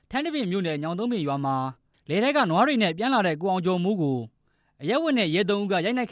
ထန်းတပင်မြို့နယ် ညောင်သုံးပင်ကျေးရွာမှာ လယ်ထဲကပြန်လာတဲ့ ရွာသားတစ်ဦးဟာ ရဲတပ်ဖွဲ့ဝင်သုံးဦးက ရိုက်နှက်